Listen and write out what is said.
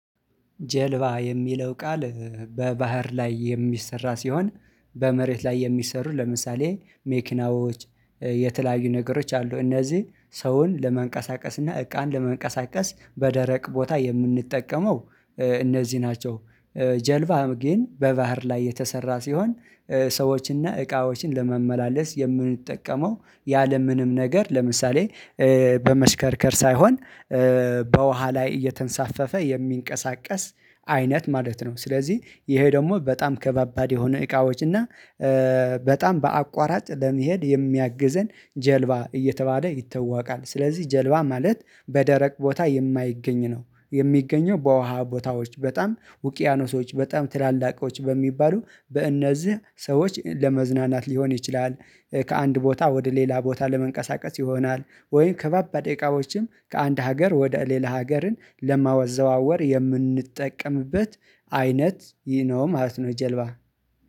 ጀልባ የሚለው ቃል በባህር ላይ የሚሰራ ሲሆን በመሬት ላይ የሚሰሩ ለምሳሌ መኪናዎች የተለያዩ ነገሮች አሉ እነዚህ ሰውን ለመንቀሳቀስ እና እቃን ለመንቀሳቀስ በደረቅ ቦታ የምንጠቀመው እነዚህ ናቸው። ጀልባ ግን በባህር ላይ የተሰራ ሲሆን ሰዎችን እና እቃዎችን ለማመላለስ የምንጠቀመው ያለምንም ነገር ለምሳሌ በመሽከርከር ሳይሆን በውሃ ላይ እየተንሳፈፈ የሚንቀሳቀስ አይነት ማለት ነው። ስለዚህ ይሄ ደግሞ በጣም ከባባድ የሆነ እቃዎች እና በጣም በአቋራጭ ለመሄድ የሚያግዘን ጀልባ እየተባለ ይተዋወቃል። ስለዚህ ጀልባ ማለት በደረቅ ቦታ የማይገኝ ነው የሚገኘው በውሃ ቦታዎች በጣም ውቅያኖሶች በጣም ትላልቆች በሚባሉ በእነዚህ ሰዎች ለመዝናናት ሊሆን ይችላል። ከአንድ ቦታ ወደ ሌላ ቦታ ለመንቀሳቀስ ይሆናል ወይም ከባባድ እቃዎችን ከአንድ ሀገር ወደ ሌላ ሀገርን ለማወዛወር የምንጠቀምበት አይነት ዩ ኖ ማለት ነው። ጀልባ